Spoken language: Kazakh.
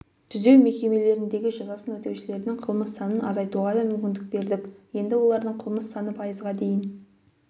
түзеу мекемелеріндегі жазасын өтеушілердің қылмыс санын азайтуға да мүмкіндік бердік енді олардың қылмыс саны пайызға дейін